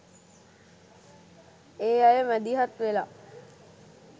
ඒ අය මැදිහත් වෙලා